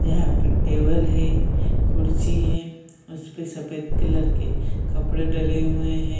यहाँ पर टेबल है कुर्सी है उस पे सफ़ेद कलर के कपड़े डले हुए है ।